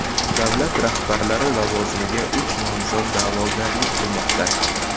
Davlat rahbari lavozimiga uch nomzod da’vogarlik qilmoqda.